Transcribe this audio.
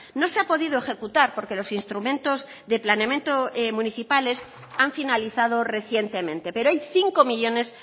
no se ha podido ejecutar porque los instrumentos de planeamiento municipales han finalizado recientemente pero hay cinco millónes